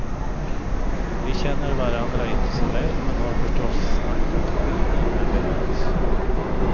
Vi känner varandra inte så väl, men har förstås snackat skidor när vi möts.